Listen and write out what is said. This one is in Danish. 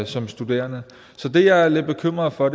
som studerende så det er jeg lidt bekymret for